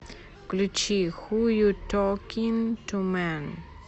включи ху ю токин ту мэн